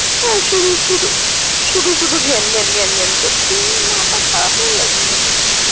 তো শুধু শুধু শুধু শুধু ঘ্যান ঘ্যান করছে, মাথা খারাপ হয়ে গেছে না কি?